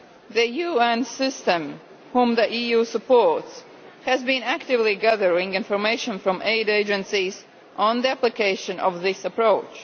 The UN system, which the EU supports, has been actively gathering information from aid agencies on the application of this approach.